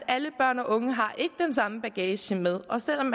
alle børn og unge har ikke den samme bagage med og selv om